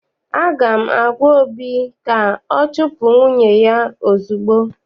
Aga m agwa obi ka ọ chupu nwunye ya ozugbo!